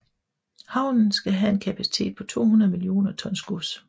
Havnen skal have en kapacitet på 200 million tons gods